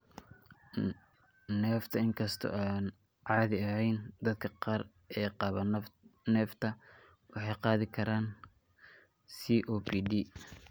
Neefta Inkastoo aan caadi ahayn, dadka qaar ee qaba neefta waxay qaadi karaan COPD.